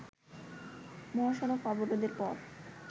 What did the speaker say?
মহাসড়ক অবরোধের পর